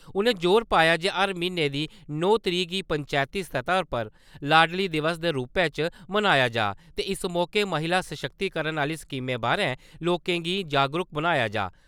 उ`नें जोर पाया जे हर म्हीने दी नौ तरीक गी पंचैती सतह उप्पर लाडली दिवस दे रूपै च मनाया जा ते इस मौके महिला सशक्तिकरण आह्‌ली स्कीमें बारै लोकें गी जागरूक बनाया जा।